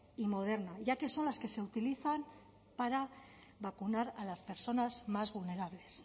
y moderna ya que son las que ese utilizan para vacunar a las personas más vulnerables